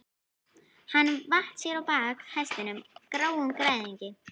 Hann vatt sér á bak hestinum, gráum gæðingi.